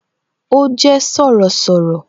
Ó jé Sọ̀rọ̀sọ̀rọ̀